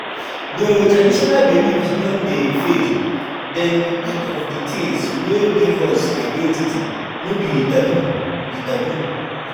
Though traditional beliefs don dey fade, dem be part of di things wey give us identity, no be taboo be taboo